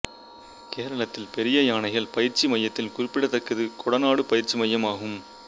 கேரளத்தின் பெரிய யானைகள் பயிற்சி மையத்தில் குறிப்பிடத்தக்கது கொடநாடு பயிற்சி மையம் ஆகும்